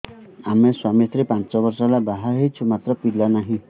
ଆମେ ସ୍ୱାମୀ ସ୍ତ୍ରୀ ପାଞ୍ଚ ବର୍ଷ ହେଲା ବାହା ହେଇଛୁ ମାତ୍ର ପିଲା ନାହିଁ